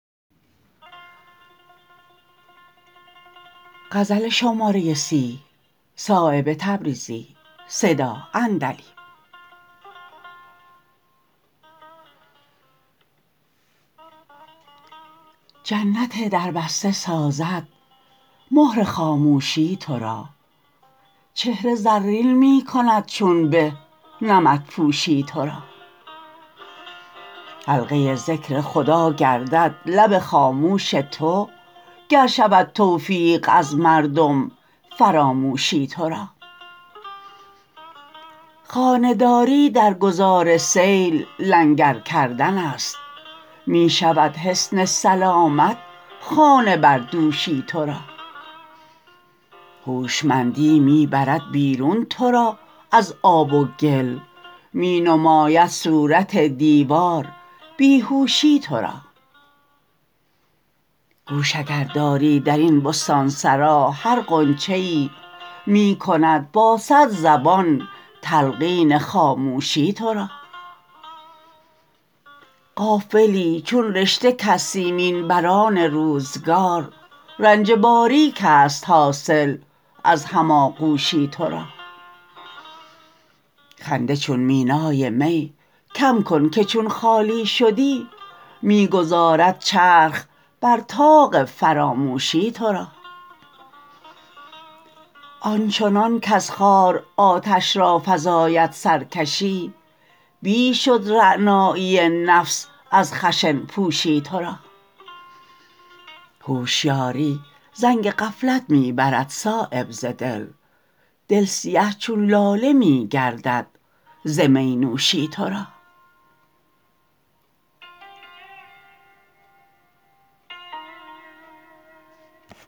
جنت در بسته سازد مهر خاموشی ترا چهره زرین می کند چون به نمدپوشی ترا حلقه ذکر خدا گردد لب خاموش تو گر شود توفیق از مردم فراموشی ترا خانه داری در گذار سیل لنگر کردن است می شود حصن سلامت خانه بر دوشی ترا هوشمندی می برد بیرون ترا از آب و گل می نماید صورت دیوار بیهوشی ترا گوش اگر داری درین بستانسرا هر غنچه ای می کند با صد زبان تلقین خاموشی ترا غافلی چون رشته کز سیمین بران روزگار رنج باریک است حاصل از هم آغوشی ترا خنده چون مینای می کم کن که چون خالی شدی می گذارد چرخ بر طاق فراموشی ترا آنچنان کز خار آتش را فزاید سرکشی بیش شد رعنایی نفس از خشن پوشی ترا هوشیاری زنگ غفلت می برد صایب ز دل دل سیه چون لاله می گردد ز می نوشی ترا